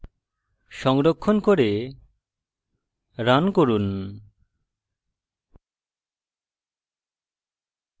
সংরক্ষণ করে run run